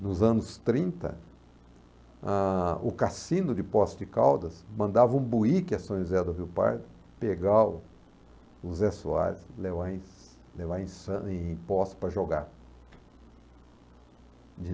Nos anos trinta, ah, o cassino de Posse de Caldas mandava um buíque a São José do Rio Pardo pegar o o Zé Soares e levar em levar em san em Posse para jogar.